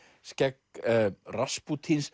skegg